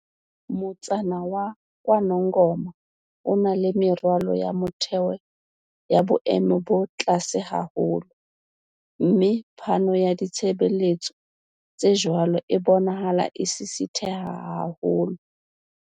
"Motsana wa KwaNongoma o na le meralo ya motheo ya boemo bo tlase haholo, mme phano ya ditshebeletso tse jwalo e bonahala e sisitheha haholo."